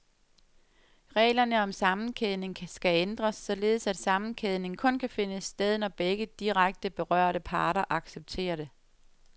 Reglerne om sammenkædning skal ændres, således at sammenkædning kun kan finde sted, når begge direkte berørte parter accepterer det.